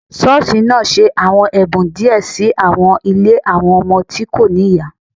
Ṣọọṣi naa ṣe awọn ẹbun diẹ si awọn ile awọn ọmọ ti ko ni iya